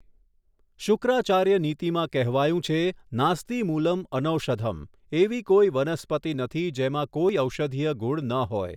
શુક્રાચાર્ય નીતિમાં કહેવાયું છે નાસ્તિ મૂલં અનૌષધં એવી કોઈ વનસ્પતિ નથી જેમાં કોઈ ઔષધીય ગુણ ન હોય.